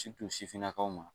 sifinnakaw ma